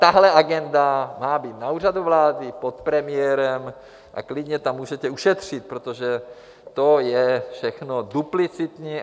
Tahle agenda má být na Úřadu vlády pod premiérem a klidně tam můžete ušetřit, protože to je všechno duplicitní.